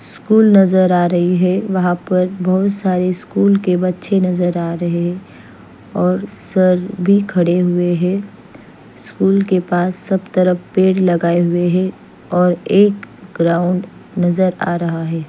School नज़र आ रही है वहाँ पर बहोत सारे स्कूल के बच्चे नज़र आ रहे है और सर भी खड़े हिये है स्कूल के पास सब तरफ पेड़ लगाये हुए है और एक ग्राउंड नज़र आ रहा है।